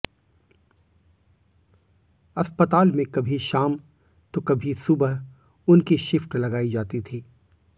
अस्पताल में कभी शाम तो कभी सुबह उनकी शिफ्ट लगाई जाती थी